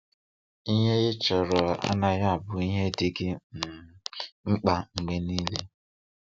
Ihe ị chọrọ anaghị abụ ihe dị gị um mkpa mgbe niile!